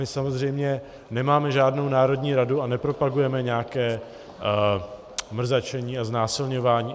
My samozřejmě nemáme žádnou národní radu a nepropagujeme nějaké mrzačení a znásilňování.